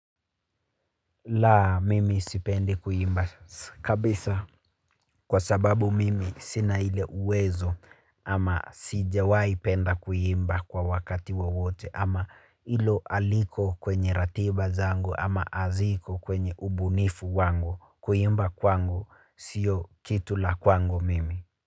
Laa, mimi sipendi kuimba kabisa. Kwa sababu mimi sina ile uwezo ama sijawahi penda kuimba kwa wakati wa wote ama ilo aliko kwenye ratiba zango ama aziko kwenye ubunifu wangu kuimba kwangu sio kitu la kwangu mimi.